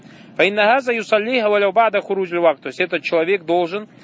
я говорю в этот человек должен